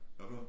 Hvad for noget?